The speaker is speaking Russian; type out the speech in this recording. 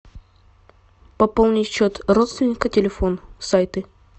пополнить счет родственника телефон сайты